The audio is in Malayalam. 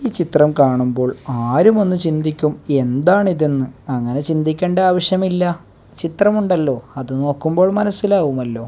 ഈ ചിത്രം കാണുമ്പോൾ ആരും ഒന്ന് ചിന്തിക്കും എന്താണിതെന്ന് അങ്ങനെ ചിന്തിക്കേണ്ട ആവശ്യമില്ല ചിത്രമുണ്ടല്ലോ അത് നോക്കുമ്പോൾ മനസ്സിലാവുമല്ലോ.